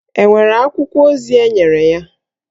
È nwere akwụkwọ ozi enyere ya?